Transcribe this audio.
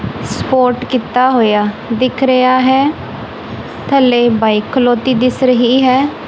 Support ਕੀਤਾ ਹੋਇਆ ਦਿਖ ਰਿਹਾ ਹੈ ਥੱਲੇ ਬਾਈਕ ਖਲੋਤੀ ਦਿਸ ਰਹੀ ਹੈ।